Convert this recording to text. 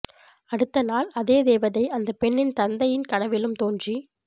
அடுத்த நாள் அதே தேவதை அந்தப் பெண்னின் தந்தையின் கனவிலும் தோன்றி